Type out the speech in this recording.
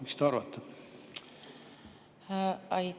Mis te arvate?